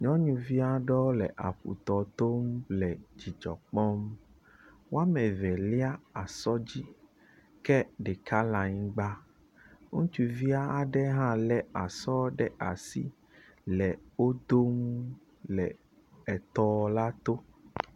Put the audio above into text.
Nyɔnuvi aɖewo le aƒutɔ tom le dzidzɔ kpɔm. Wɔme eve lia asɔ dzi ke ɖeka le anyigba. Ŋutsuvia hã le asɔ ɖe asi le wo dom le etɔ la to.